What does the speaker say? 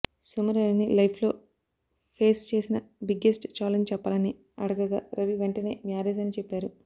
సుమ రవిని లైఫ్ లో ఫేస్ చేసిన బిగ్గెస్ట్ ఛాలెంజ్ చెప్పాలని అడగగా రవి వెంటనే మ్యారేజ్ అని చెప్పారు